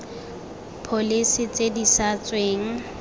pholese tse di sa tsweng